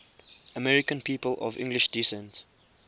american people of english descent